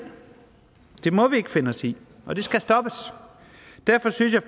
det må vi ikke finde os i og det skal stoppes derfor synes jeg